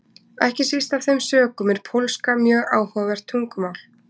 Ekki síst af þeim sökum er pólska mjög áhugavert tungumál.